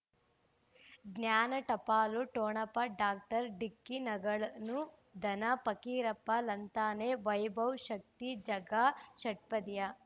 ಜ್ಞಾನ ಟಪಾಲು ಠೊಣಪ ಡಾಕ್ಟರ್ ಢಿಕ್ಕಿ ಣಗಳನು ಧನ ಫಕೀರಪ್ಪ ಳಂತಾನೆ ವೈಭವ್ ಶಕ್ತಿ ಝಗಾ ಷಟ್ಪದಿಯ